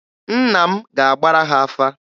Nna m ga-agbara ha afa.